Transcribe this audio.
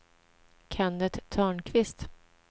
Kennet Törnqvist